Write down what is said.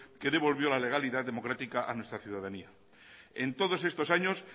que devolvió la legalidad democrática a nuestra ciudadanía en todos estos años